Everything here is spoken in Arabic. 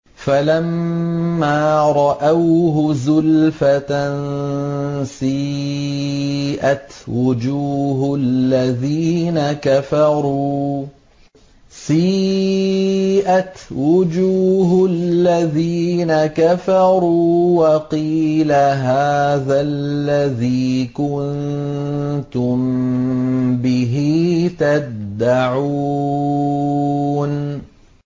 فَلَمَّا رَأَوْهُ زُلْفَةً سِيئَتْ وُجُوهُ الَّذِينَ كَفَرُوا وَقِيلَ هَٰذَا الَّذِي كُنتُم بِهِ تَدَّعُونَ